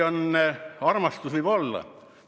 Armastus võib olla.